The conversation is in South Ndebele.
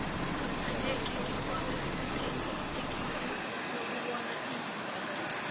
akhenge ngikghone ukuthenga ithikithi lokubona iub